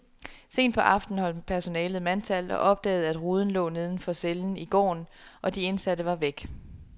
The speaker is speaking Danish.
Sent på aftenen holdt personalet mandtal og opdagede, at ruden lå neden for cellen i gården, og de indsatte var væk.